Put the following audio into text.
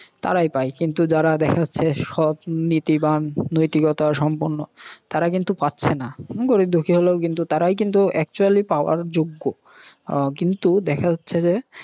তারাই পায়। কিন্তু যারা দেখা যাচ্ছে সৎ নীতিবান নীতিকথা সম্পন্ন তাঁরা কিন্তু পাচ্ছে না। গরীব দুখি হলেও তারাই কিন্তু actual পাওয়ার যোগ্য। আহ কিন্তু দেখা যাচ্ছে যে